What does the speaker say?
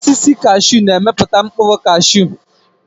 Osisi kashiu na-emepụta mkpụrụ kashiu.